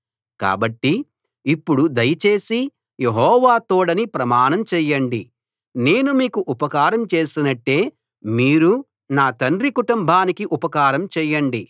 కాబట్టి ఇప్పుడు దయచేసి యెహోవా తోడని ప్రమాణం చేయండి నేను మీకు ఉపకారం చేసినట్టే మీరూ నా తండ్రి కుటుంబానికి ఉపకారం చేయండి